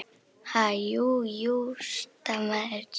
Ha- jú, jú stamaði Stjáni.